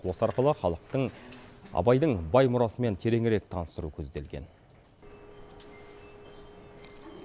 осы арқылы халықтың абайдың бай мұрасымен тереңірек таныстыру көзделген